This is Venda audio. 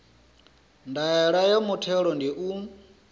ndaela ya muthelo ndi u